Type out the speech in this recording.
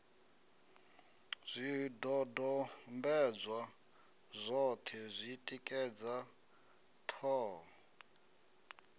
zwidodombedzwa zwoṱhe zwi tikedza ṱhoho